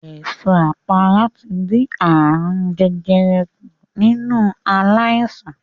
Èso àpárá ti dín ààrùn jẹjẹrẹ kùn nínú aláìsàn.